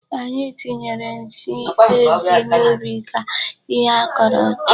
Anyị tinyere nsị ezi n'ubi ka ihe a kaọrọ too.